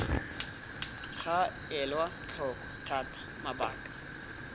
ga elwa tlhoko thata mabaka